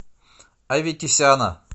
аветисяна